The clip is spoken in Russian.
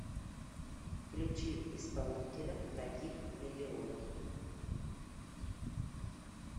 включи исполнителя таких миллион